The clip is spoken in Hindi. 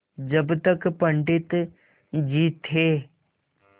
जब तक पंडित जी थे